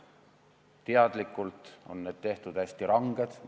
Teadlikult on need tehtud hästi ranged.